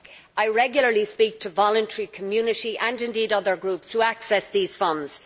I regularly speak to voluntary, community, and other groups who access these funds.